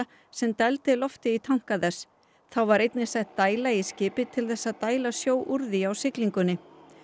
sem dældi lofti í tanka þess þá var einnig sett dæla í skipið til þess að dæla sjó úr því á siglingunni